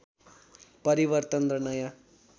परिवर्तन र नयाँ